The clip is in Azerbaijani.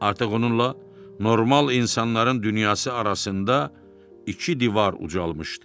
Artıq onunla normal insanların dünyası arasında iki divar ucalmışdı.